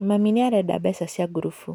Mami nĩarenda mbeca cia ngurubu.